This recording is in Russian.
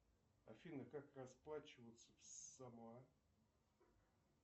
афина как расплачиваться в самоа